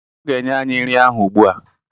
Ọ ga-enye anyị nri ahụ ugbu a.